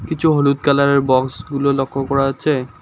কিছু হলুদ কালারের বক্সগুলো লক্ষ করা আচ্ছে ।